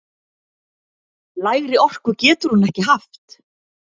Lægri orku getur hún ekki haft!